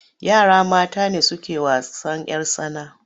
Yara mata ne suke wasan'yar tsana.